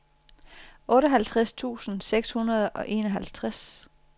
otteoghalvtreds tusind seks hundrede og enoghalvtreds